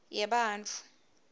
yebantfu